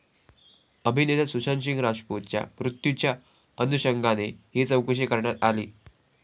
अभिनेता सुशांतसिंह राजपूतच्या मृत्यूच्या अनुषंगाने ही चौकशी करण्यात आली.